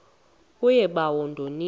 kuye bawo ndonile